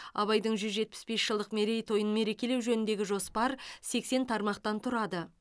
абайдың жүз жетпіс бес жылдық мерейтойын мерекелеу жөніндегі жоспар сексен тармақтан тұрады